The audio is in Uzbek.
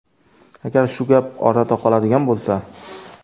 Agar shu gap orada qoladigan bo‘lsa.